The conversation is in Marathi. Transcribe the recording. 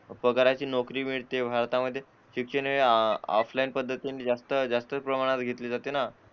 पगाराची नोकरी मिळते हातामध्ये शिक्षण हे ऑफलाइन पद्धतीने जास्त जास्त प्रमाणात घेतले जाते ना